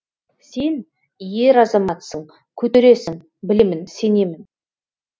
сен ер азаматсың көтересің білемін сенемін